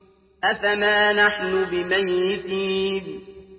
أَفَمَا نَحْنُ بِمَيِّتِينَ